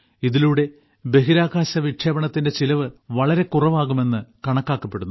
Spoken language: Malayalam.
ഇതിലൂടെ ബഹിരാകാശ വിക്ഷേപണത്തിന്റെ ചിലവ് വളരെ കുറവാകുമെന്ന് കണക്കാക്കപ്പെടുന്നു